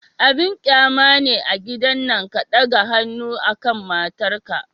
Abin qyama ne a gidan nan ka ɗaga hannu akan matar ka.